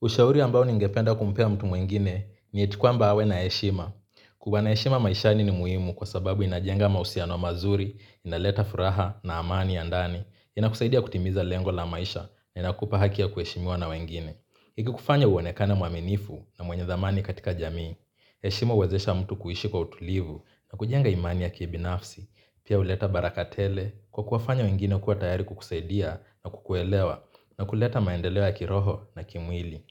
Ushauri ambao ningependa kumpea mtu mwingine ni eti kwamba awe na heshima. Kuwa na heshima maishani ni muhimu kwa sababu inajenga mausiano mazuri, inaleta furaha na amani ya ndani, inakusaidia kutimiza lengo la maisha na inakupa haki ya kuheshimiwa na wengine. Ikikufanya uonekane mwaminifu na mwenye dhamani katika jamii, heshima uwezesha mtu kuishi kwa utulivu na kujenga imani yake binafsi, pia uleta baraka tele kwa kuwafanya wengine kuwa tayari kukusaidia na kukuelewa na kuleta maendeleo ya kiroho na kimwili.